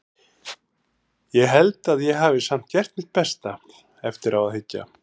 Ég held að ég hafi samt gert mitt besta, eftir á að hyggja.